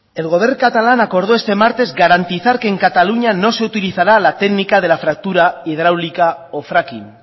el govern catalán acordó este martes garantizar que en cataluña no se utilizará la técnica de la fractura hidráulica o fracking